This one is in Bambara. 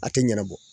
A tɛ ɲɛnabɔ